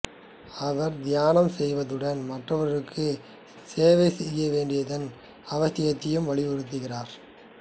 அவர் தியானம் செய்வதுடன் மற்றவர்களுக்கு சேவை செய்ய வேண்டியதன் அவசியத்தையும் வலியுருத்துகிறார்